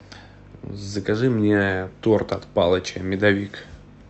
закажи мне торт от палыча медовик